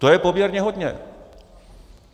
To je poměrně hodně.